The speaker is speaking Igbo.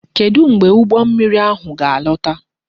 Kedu mgbe ụgbọ mmiri ahụ ga alọta?